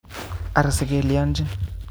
Ara sikelyojin